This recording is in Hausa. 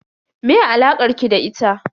Me alakar ki da ita?